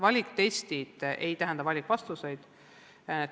Valiktestid ei tähenda valikvastuseid.